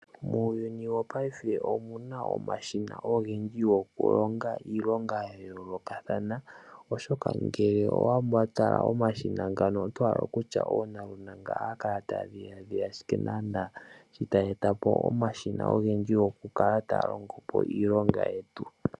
Muuyuni wopaife omu na omashina ogendji goku longa iilonga ya yoolokathana. Omashina ngano oga ndulukwapo nuukeka nelalakano olyo kulonga iilonga meendelelo na oge vulithe okulonga koonyala.